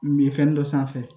Min ye fɛn dɔ sanfɛ